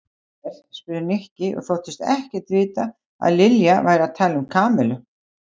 Hver? spurði Nikki og þóttist ekkert vita að Lilja væri að tala um Kamillu.